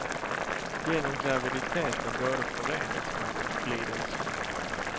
Genom graviditeten både förenas man och glider isär.